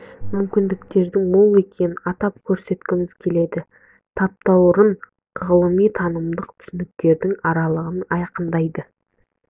мүмкіндіктер мол екенін атап көрсеткіміз келеді таптаурын ғылыми танымдық түсініктерден арылғанын айқындайды